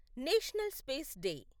national space day